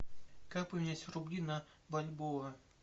как поменять рубли на бальбоа